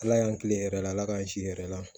Ala y'an kilen yɛrɛ la ala k'an ki yɛrɛ la